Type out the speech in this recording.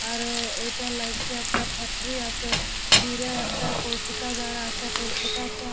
আর এইটা লাগছে একটা ফ্যাক্টরি আছে দূরে একটা পড়খুটা দাঁড় আছে পড়খুটা তে--